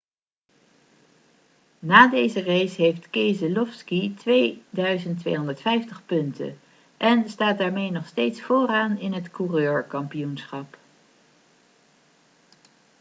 na deze race heeft keselowski 2250 punten en staat daarmee nog steeds vooraan in het coureurkampioenschap